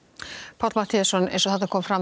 Páll eins og kom fram